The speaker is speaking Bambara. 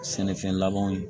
Sɛnɛfɛn labanw ye